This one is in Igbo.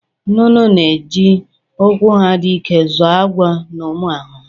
Nnụnụ na-eji ụkwụ ha dị ike zọọ agwọ na ụmụ ahụhụ.